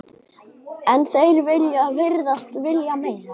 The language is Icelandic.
En þeir virðast vilja meira.